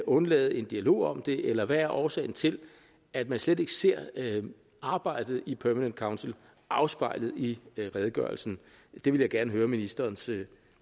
undlade en dialog om det eller hvad er årsagen til at man slet ikke ser arbejdet i permanent council afspejlet i redegørelsen det vil jeg gerne høre ministerens